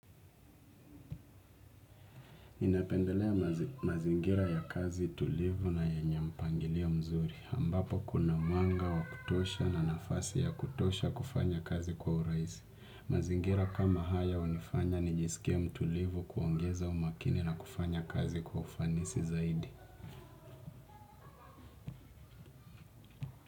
Inapendelea mazingira ya kazi tulivu na yenye mpangilio mzuri. Ambapo kuna mwanga wa kutosha na nafasi ya kutosha kufanya kazi kwa urahisi. Mazingira kama haya hunifanya nijisikie mtulivu kuongeza umakini na kufanya kazi kwa ufanisi zaidi.